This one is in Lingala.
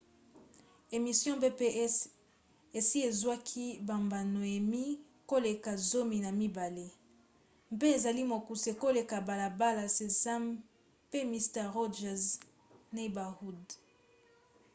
emission pbs esi ezwaki bambano emmy koleka zomi na mibale npe ezali mokuse koleka balabala sesame pe mister rogers 'neighborhood